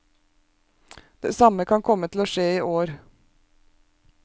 Det samme kan komme til å skje i år.